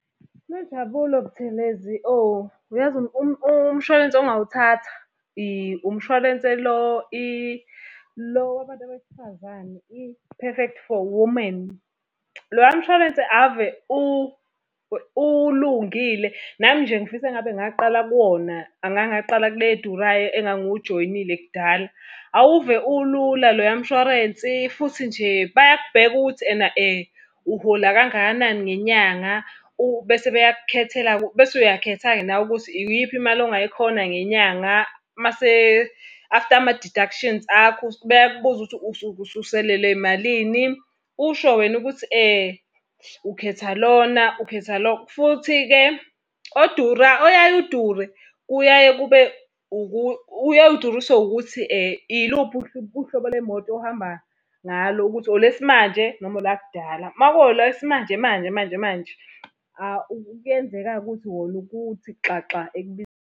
Nonjabulo Buthelezi oh, yazi umshwalense ongawuthatha umshwalense lo lo wabantu besifazane, i-Perfect for Woman. Loya mshwarense ave ulungile, nami nje ngifisa engabe ngaqala kuwona, angangaqala kule edurayo engangiwujoyinile kudala. Awuve ulula loya mshwarensi, futhi nje bayabheka ukuthi ena uhola kangakanani ngenyanga, bese beyakukhethela-ke, bese uyakhetha-ke nawe ukuthi iyiphi imali ongayikhona ngenyanga. Mase, after ama-deductions akho bayakubuza ukuthi usuke ususalelwe yimalini, usho wena ukuthi ukhetha lona ukhetha lo. Futhi-ke oyaye udure, kuyaye kube uyaye uduriswe ukuthi iluphi uhlobo lwemoto ohamba ngalo, ukuthi olwesimanje noma olakudala. Uma kuwolwesmanje manje manje manje manje, kuyenzeka-ke ukuthi wona ubuye uthi xaxa.